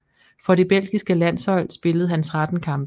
For det belgiske landshold spillede han 13 kampe